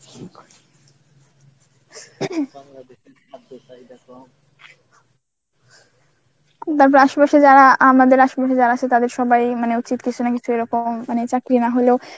তারপর আসেপাশে যারা আমাদের আসেপাশে তাদের সবাই মানে উচিত কিছু না কিছু এরকম মানে চাকরি না হলেও